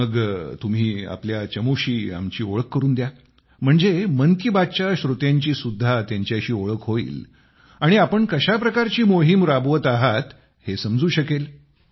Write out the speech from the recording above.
मग तुम्ही आपल्या चमूशी आमची ओळख करून द्या म्हणजे मन की बात च्या श्रोत्यांची सुद्धा त्यांच्याशी ओळख होईल आणि आपण कशा प्रकारची मोहीम राबवीत आहात हे समजू शकेल